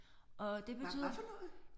Og det betyder